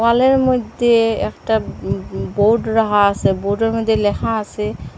দেওয়ালের মইদ্যে একটা উম উম বোর্ড রাহা আসে বোর্ডের মদ্যে লেখা আসে--